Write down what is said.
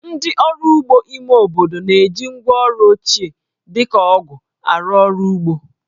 Ndị ọrụ ugbo ime obodo na-eji ngwáọrụ ochie, dị ka ọgụ̀ arụ ọrụ ugbo